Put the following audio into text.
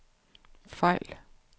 fejl